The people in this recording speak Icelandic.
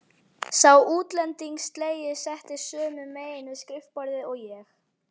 Sá útlendingslegi settist sömu megin við skrifborðið og ég.